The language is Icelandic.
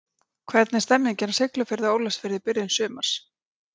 Hvernig er stemmingin á Siglufirði og Ólafsfirði í byrjun sumars?